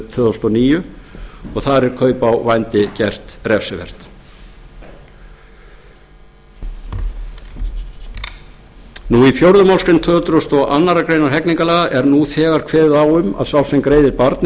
tvö þúsund og níu og þar eru kaup á vændi gerð refsiverð í fjórðu málsgrein tvö hundruð og aðra grein hegningarlaga er nú þegar kveðið á um að sá sem greiðir barni eða